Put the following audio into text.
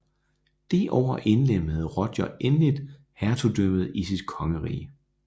Det år indlemmede Roger endeligt hertugdømmet i sit kongerige